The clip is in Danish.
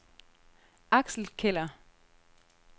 Axel Keller